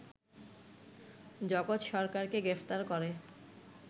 জগৎ সরকারকে গ্রেপ্তার করে